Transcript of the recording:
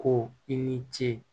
Ko i ni ce